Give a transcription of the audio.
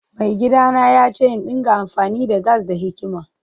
Maigidana ya ce in dinga amfani da gas da hikima.